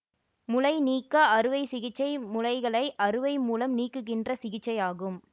முலை நீக்க அறுவை சிகிச்சை முலைகளை அறுவை மூலம் நீக்குகின்ற சிகிச்சை ஆகும்